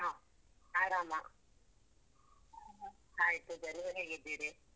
ಹಾ ಆರಾಮ. Hai ಪೂಜಾ ನೀವ್ ಹೇಗಿದ್ದೀರಿ?